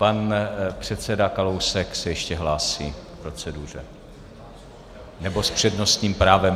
Pan předseda Kalousek se ještě hlásí k proceduře, nebo s přednostním právem.